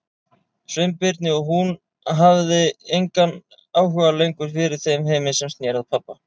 Sveinbirni og hún hafði engan áhuga lengur fyrir þeim heimi sem sneri að pabba.